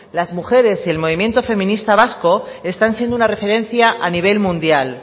las mujeres y el movimiento feminista vasco están siendo una referencia a nivel mundial